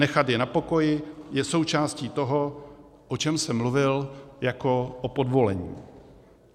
Nechat je na pokoji je součástí toho, o čem jsem mluvil jako o podvolení.